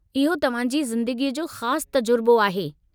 इहो तव्हां जी ज़िंदगीअ जो ख़ास तजुर्बो आहे।